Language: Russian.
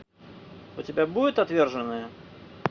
у тебя будет отверженные